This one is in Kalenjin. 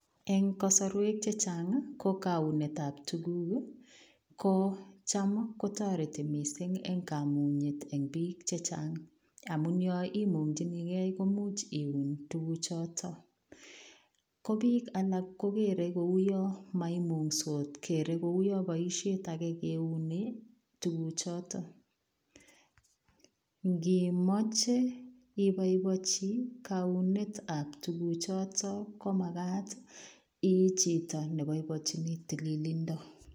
Eng kasarweek chechaang ii ko kauneet ab tuguuk ko chaam ko taretii missing en kamunyet en biik chechaang amuun imuungyinigei komuuch iuun tuguuk chotoon, ko biik alaak kogere ko yaan kouwaan ko boisiet age kiunee tuguuk chotoon, ingiip machei ibaibaichii kaunet ab tuguuk chotoon ko magaat ii chitoo ne baibaichini tililindo.